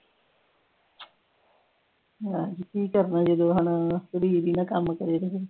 ਕਿ ਕੱਰ ਹਾਣਾ ਕੁੜੀ ਓਰੀ ਨੇ ਕੰਮ ਕਰੇ ਵੀ ਨਹੀਂ